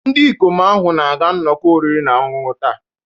Ndị ikom ahụ na-aga nnọkọ oriri na ọṅụṅụ taa.